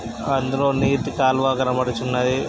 అందులో నీటి కాలువా కనబడుచున్నవి.